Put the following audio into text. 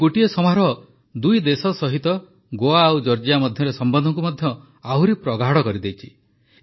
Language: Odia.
ଏହି ଗୋଟିଏ ସମାରୋହରେ ଦୁଇ ଦେଶ ସହିତ ଗୋଆ ଓ ଜର୍ଜିଆ ମଧ୍ୟରେ ସମ୍ବନ୍ଧକୁ ମଧ୍ୟ ଆହୁରି ପ୍ରଗାଢ଼ କରିଦେଇଛି